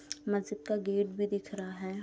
मस्जिद का गेट भी दिख रहा है।